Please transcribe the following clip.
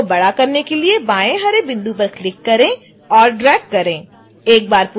effect को बड़ा करने के लिए बाएँ हरे बिंदु पर क्लिक करें और ड्रैग करें